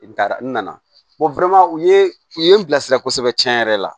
I taara n nana u ye u ye n bilasira kosɛbɛ tiɲɛ yɛrɛ la